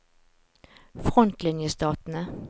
frontlinjestatene